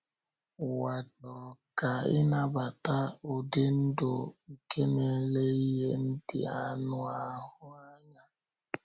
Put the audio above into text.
Ụwa chọrọ ka ị nabata ụdị ndụ nke na-ele ihe ndị anụ ahụ anya.